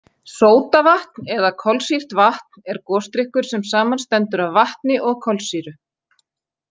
Sódavatn eða kolsýrt vatn er gosdrykkur sem samanstendur af vatni og kolsýru.